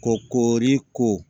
Ko koori ko